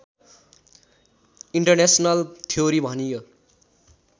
international theory भनियो